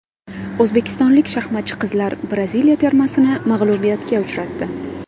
O‘zbekistonlik shaxmatchi qizlar Braziliya termasini mag‘lubiyatga uchratdi.